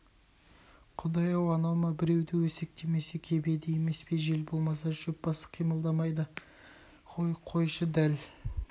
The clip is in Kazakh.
құдай-ай анау ма біреуді өсектемесе кебеді емес пе жел болмаса шөп басы қимылдамайды ғой қойшы дәл